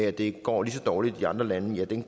at det går lige så dårligt i andre lande kan